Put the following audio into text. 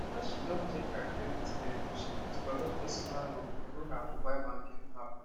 after she don check her credit level she fit collect personal loan through her mobile banking app